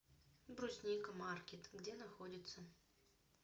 брусника маркет где находится